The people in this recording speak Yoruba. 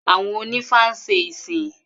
Àwọn onífá ń ṣe ìsìn